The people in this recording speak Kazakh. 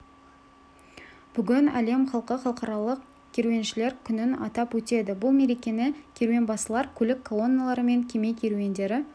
бүгін әлем халқы халықаралық керуеншілер күнін атап өтеді бұл мерекені керуенбасылар көлік колонналары мен кеме керуендері